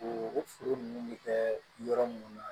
U furu ninnu bɛ kɛ yɔrɔ minnu na